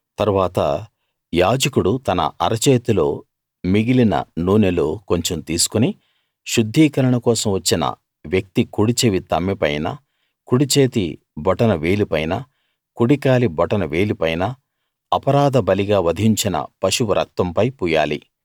తరువాత యాజకుడు తన అరచేతిలో మిగిలిన నూనెలో కొంచెం తీసుకుని శుద్ధీకరణ కోసం వచ్చిన వ్యక్తి కుడిచెవి తమ్మెపైన కుడిచేతి బొటన వేలిపైన కుడి కాలి బొటన వేలిపైన అపరాధ బలిగా వధించిన పశువు రక్తంపై పూయాలి